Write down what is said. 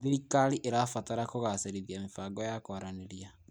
Thirikari ĩrabatara kũgacĩrithia mĩbango ya kũaranĩria.